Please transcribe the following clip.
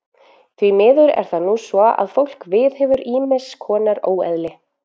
Því miður er það nú svo að fólk viðhefur ýmiss konar óeðli.